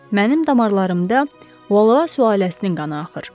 Mənim damarlarımda Valua ailəsinin qanı axır.